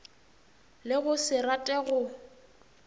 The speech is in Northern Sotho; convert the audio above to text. le go se rate go